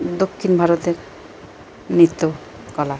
দক্ষিণ ভারতের নিত্য কলা।